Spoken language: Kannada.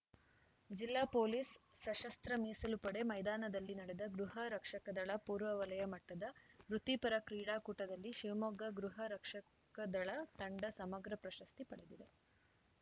ಜಿಲ್ಲಾ ಪೊಲೀಸ್‌ ಸಶಸ್ತ್ರ ಮೀಸಲು ಪಡೆ ಮೈದಾನದಲ್ಲಿ ನಡೆದ ಗೃಹ ರಕ್ಷಕದಳ ಪೂರ್ವ ವಲಯ ಮಟ್ಟದ ವೃತ್ತಿಪರ ಕ್ರೀಡಾಕೂಟದಲ್ಲಿ ಶಿವಮೊಗ್ಗ ಗೃಹರಕ್ಷಕದಳ ತಂಡ ಸಮಗ್ರ ಪ್ರಶಸ್ತಿ ಪಡೆದಿದೆ